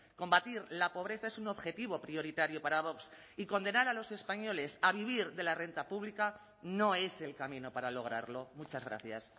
combatir la pobreza es un objetivo prioritario para vox y condenar a los españoles a vivir de la renta pública no es el camino para lograrlo muchas gracias